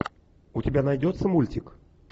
у тебя найдется мультик